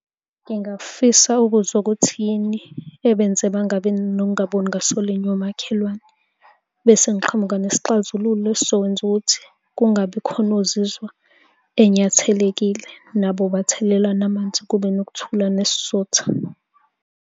Ngingafisa ukuzwa ukuthi yini ebenze bangabi nokungaboni ngaso linye omakhelwane, bese ngiqhamuka nesixazululo esizokwenza ukuthi kungabi khona ozizwa enyathelekile nabo bathelelana amanzi, kube nokuthula nesizotha.